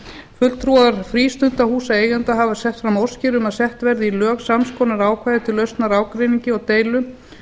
fulltrúar frístundahúsaeigenda hafa sett fram óskir um að sett verði í lög sams konar ákvæði til lausnar ágreiningi og deilum